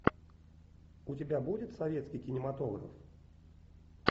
у тебя будет советский кинематограф